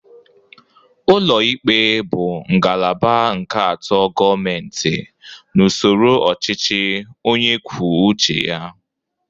Ụlọ ikpe bụ ngalaba nke atọ Gọmenti n'usoro ọchịchị onyekwucheya.